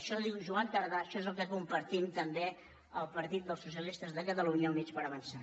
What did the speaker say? això ho diu joan tardà això és el que compartim també el partit dels socialistes de catalunya i units per avançar